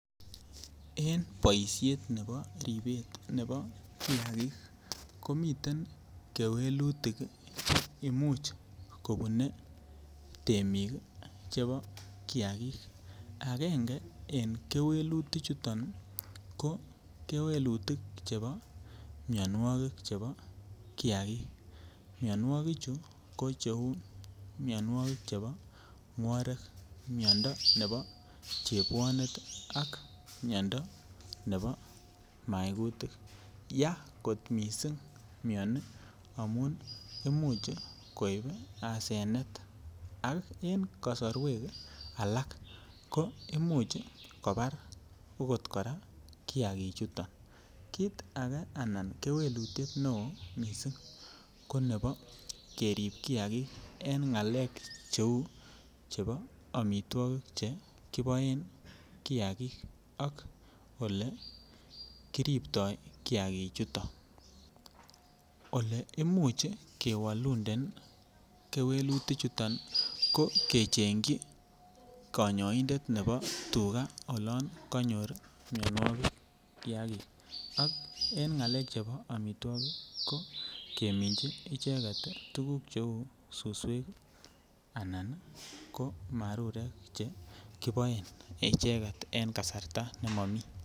En boiset nebo ribet nebo kiagik komiten kewelutik ii che imuch kobune temik ii chebo kiagik angenge en kewelutik chuton ko kewelutik chebo mionwokik chebo kiagik mionwokik chu ko che uu mionwokik chebo mworek miondo nebo chebwonet ii ak miondo nebo maigutik, Yaa kot missing mioni amun imuch koib asenet ak en kosorwek alak ko imuch kobar okot koraa kiagik chuton. Kit age anan kewelutiet ne oo missing' ko nebo kerib kiagik en ngalek che uu chebo omitwokik che kiboen kiagik ak ole kiribtoi kiagik chuton, ole imuch kewoluden kewelutik chuton ko kechengyi konyoindet nebo tuga olon konyor mionwokik kiagik, ak en ngalek chebo omitwokik ko keminji icheget ii tuguk che uu suswek anan ko marurek che kiboen echeget en kasarta ne momii